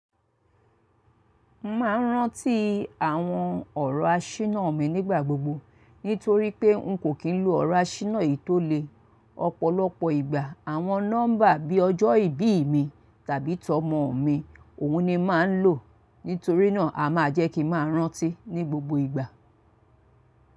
Máa ń rántí àwọn ọ̀rọ̀ àṣínà mi nígbà gbogbo nítorí pé n kò kí ń lo ọ̀rọ̀ àṣínà yìí tó le. Ọ̀pọ̀lọpọ̀ ìgbà àwọn nọ́mbà bí ọjọ́ ìbí mi tàbí tọ́mọ mi òun ni màá ń lò. Nítorínà a máa jẹ́ kí màá rántí ní gbogbo ìgbà.